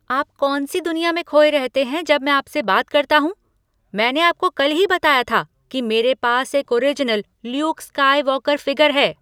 आप कौन सी दुनिया में खोए रहते हैं जब मैं आप से बात करता हूँ। मैंने आपको कल ही बताया था कि मेरे पास एक ओरिजिनल ल्यूक स्काईवॉकर फ़िगर है।